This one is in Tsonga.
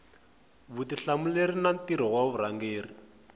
vutihlamuleri na mintirho ya varhangeri